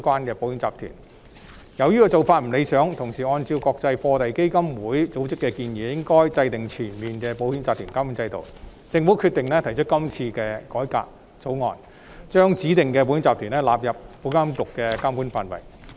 由於此做法不理想，而按照國際貨幣基金會組織的建議，我們應要制訂全面的保險集團監管制度，故政府決定提出今次的改革，把指定保險控權公司納入保監局的監管範圍。